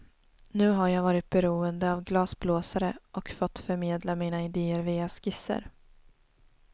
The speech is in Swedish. Nu har jag varit beroende av glasblåsare och fått förmedla mina idéer via skisser.